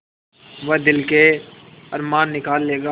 वह दिल के अरमान निकाल लेगा